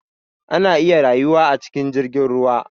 Ana iya rayuwa a cikin jirgin ruwa